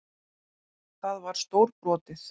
Það var stórbrotið.